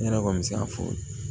Ne yɛrɛ kɔni bɛ se k'a fɔ